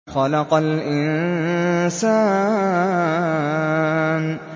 خَلَقَ الْإِنسَانَ